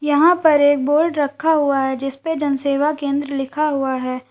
यहां पर एक बोर्ड रखा हुआ है जिस पे जन सेवा केंद्र लिखा हुआ है।